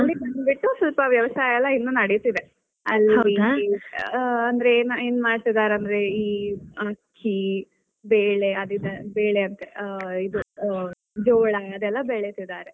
ಅಲ್ಲಿ ಬಂದ್ ಬಿಟ್ಟು ಸ್ವಲ್ಪ ವ್ಯವಸಾಯ ಎಲ್ಲಾ ಇನ್ನು ನಡಿತಾ ಇದೆ. ಅಂದ್ರೆ, ಏನ್ ಏನ್ ಮಾಡ್ತಿದ್ದಾರೆ ಅಂದ್ರೆ ಈ ಅಕ್ಕಿ ಬೇಳೆ ಅಂತ ಅದ್ ಆ ಬೇಳೆ ಇದ್ ಆ ಜೋಳ ಅದೆಲ್ಲಾ ಬೆಳಿತಿದ್ದಾರೆ.